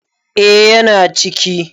eh yana ciki